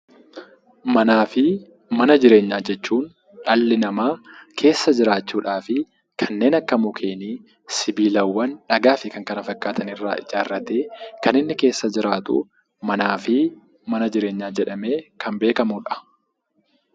Manaa fi mana jireenyaa jechuun dhalli namaa keessa jiraachuudhaaf kanneen akka: mukkeenii, siibilawwan, dhagaa fi kan kana fakkaatan irraa ijaarratee kan inni keessa jiraatu manaa fi mana jireenyaa jedhamee kan beekamudha.